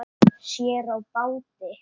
Sér á báti.